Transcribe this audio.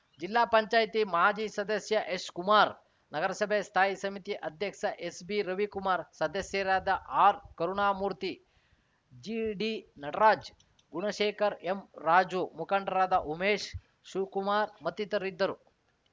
ಜಿಲ್ಲಾ ಪಂಚಾಯತಿ ಮಾಜಿ ಸದಸ್ಯ ಎಸ್‌ಕುಮಾರ್‌ ನಗರಸಭೆ ಸ್ಥಾಯಿ ಸಮಿತಿ ಅಧ್ಯಕ್ಷ ಎಸ್ಬಿರವಿಕುಮಾರ್‌ ಸದಸ್ಯರಾದ ಆರ್‌ಕರುಣಾಮೂರ್ತಿ ಜಿಡಿನಟರಾಜ್‌ ಗುಣಶೇಖರ್‌ ಎಂ ರಾಜು ಮುಖಂಡರಾದ ಉಮೇಶ್‌ ಶಿವಕುಮಾರ್‌ ಮತ್ತಿತರರಿದ್ದರು